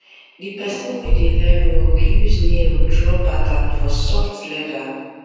the person wey dey learn work use nail draw pattern for soft leather